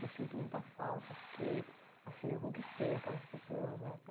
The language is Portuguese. Eu sinto muita falta porque, assim, eu conquistei aquelas pessoas, né?